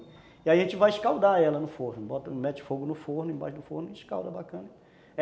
E aí a gente vai escaldar ela no forno, mete fogo no forno, embaixo do forno e escalda bacana.